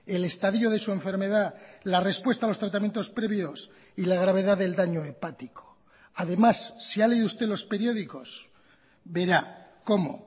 el estadio de su enfermedad la respuesta a los tratamientos previos y la gravedad del daño hepático además si ha leído usted los periódicos verá como